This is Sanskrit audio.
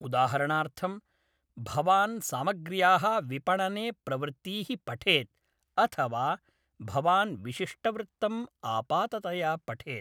उदाहरणार्थंम्, भवान् सामग्र्याः विपणने प्रवृत्तीः पठेत् अथ वा भवान् विशिष्टवृत्तम् आपाततया पठेत्।